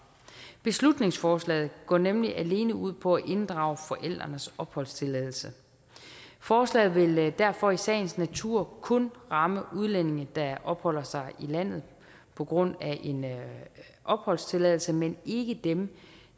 beslutningsforslaget går nemlig alene ud på at inddrage forældrenes opholdstilladelse forslaget vil derfor i sagens natur kun ramme udlændinge der opholder sig i landet på grund af en opholdstilladelse men ikke dem